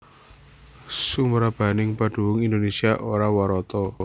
Sumrambahing padunung Indonésia ora warata